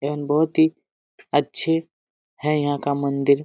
एवं बहुत ही अच्छे है यहाँ का मंदिर|